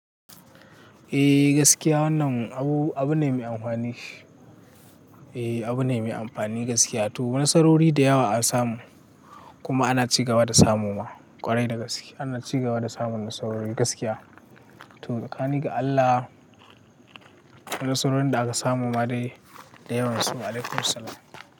Eh gaskiya wannan abu ne mai amfani. Eh abu ne mai amfani gaskiya. To nasarori da yawa an samu kuma ana cigaba da samuwa ƙwarai da gaskiya. Ana cigaba da samun nasarorin gaskiya. To, tsakanin ga Allah nasarorin da aka samu ma dai da yawan su. Wa alaikumussalam.